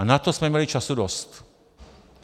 A na to jsme měli času dost.